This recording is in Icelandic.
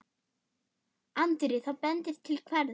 Andri: Það bendir til hvers?